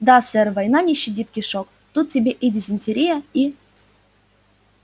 да сэр война не щадит кишок тут тебе и дизентерия и